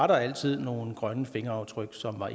der altid var nogle grønne fingeraftryk som var